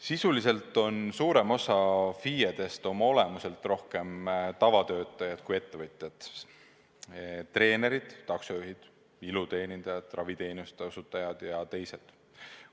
Sisuliselt on suurem osa FIE-dest oma olemuselt rohkem tavatöötajad kui ettevõtjad: treenerid, taksojuhid, iluteenindajad, raviteenuste osutajad ja teised.